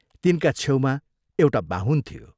तिनका छेउमा एउटा बाहुन थियो।